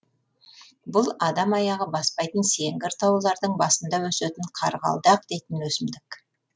бұл адам аяғы баспайтын сеңгір таулардың басында өсетін қарғалдақ дейтін өсімдік